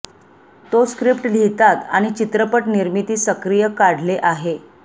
तो स्क्रिप्ट लिहितात आणि चित्रपट निर्मिती सक्रिय काढले आहे